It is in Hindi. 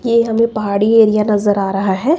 ये हमें पहाड़ी एरिया नजर आ रहा है।